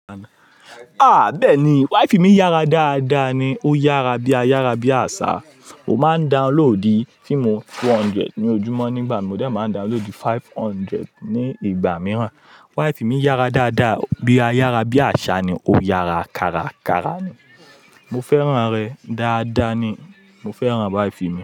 A bẹ́ẹ̀ni, wifi mi yára dáadáa ni, ó yára bí a yára bí àṣá. Ó máa ń downloadì fíìmù two hundred ní ojúmọ́ nígbà mi, mò dẹ máa ń downloadì five hundred ní ìgbà mìíràn. Wifi mi yára dáadáa bí a yára bí àṣá ni, ó yára dáradára ni. Mo fẹ́ràn rẹ̀ dáadáa ni, mo fẹ́ràn wifi mi.